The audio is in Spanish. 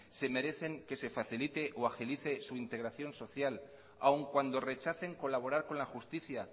se merecen que se facilite o agilice o su integración social aún cuando rechacen colaborar con la justicia